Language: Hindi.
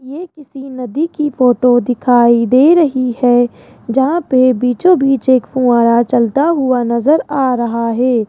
ये किसी नदी की फोटो दिखाई दे रही है जहां पर बीचो बीच एक फुव्वारा चलता हुआ नजर आ रहा है।